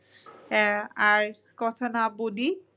আর কথা না বলি